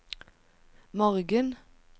morgen